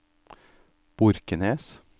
Borkenes